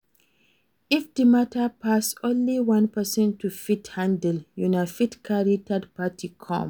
If di matter pass only one person to fit handle, una fit carry third party come